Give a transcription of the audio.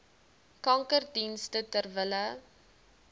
kankerdienste ter wille